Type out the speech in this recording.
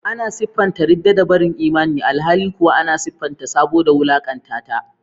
Ana siffanta ridda da barin imani, alhali kuwa ana siffanta sabo da wulakanta ta.